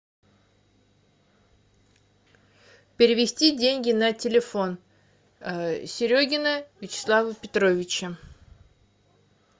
перевести деньги на телефон серегина вячеслава петровича